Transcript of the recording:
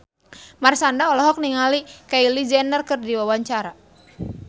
Marshanda olohok ningali Kylie Jenner keur diwawancara